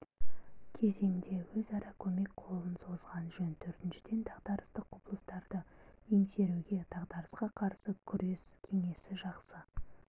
кезеңде өзара көмек қолын созған жөн төртіншіден дағдарыстық құбылыстарды еңсеруге дағдарысқа қарсы күрес кеңесі жақсы